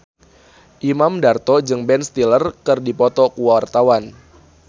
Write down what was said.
Imam Darto jeung Ben Stiller keur dipoto ku wartawan